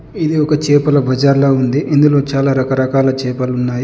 ఇది ఒక చేపల బజార్లా ఉంది. ఇందులో చాలా రకరకాల చేపలున్నాయి.